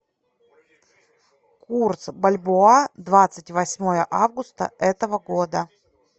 курс бальбоа двадцать восьмое августа этого года